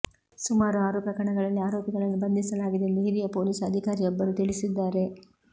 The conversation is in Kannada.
ಸುಮಾರು ಆರು ಪ್ರಕರಣಗಳಲ್ಲಿ ಆರೋಪಿಗಳನ್ನು ಬಂಧಿಸಲಾಗಿದೆ ಎಂದು ಹಿರಿಯ ಪೊಲೀಸ್ ಅಧಿಕಾರಿಯೊಬ್ಬರು ತಿಳಿಸಿದ್ದಾರೆ